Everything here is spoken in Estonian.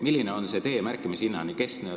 Milline on see tee märkimishinnani?